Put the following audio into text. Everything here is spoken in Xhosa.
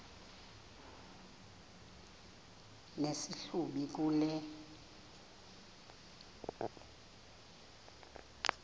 nesi hlubi kule